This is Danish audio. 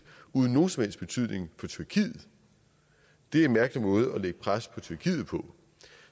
uden nogen som helst betydning for tyrkiet det er en mærkelig måde at lægge pres på tyrkiet på